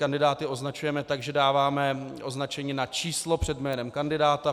Kandidáty označujeme tak, že dáváme označení na číslo před jménem kandidáta.